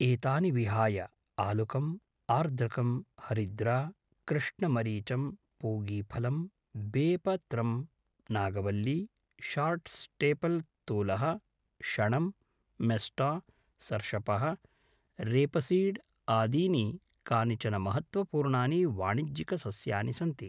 एतानि विहाय आलुकम्, आर्द्रकं, हरिद्रा, कृष्णमरिचं, पूगीफलं, बेपत्रम्, नागवल्ली, शार्ट् स्टेपल् तूलः, शणं, मेस्टा, सर्षपः, रेपसीड् आदीनि कानिचन महत्त्वपूर्णानि वाणिज्यिकसस्यानि सन्ति।